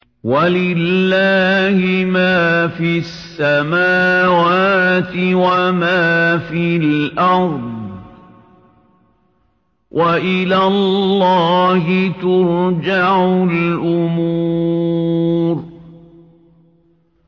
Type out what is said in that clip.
وَلِلَّهِ مَا فِي السَّمَاوَاتِ وَمَا فِي الْأَرْضِ ۚ وَإِلَى اللَّهِ تُرْجَعُ الْأُمُورُ